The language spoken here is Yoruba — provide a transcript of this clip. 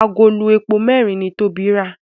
Àgòló èpo mẹrin ní Tobi rà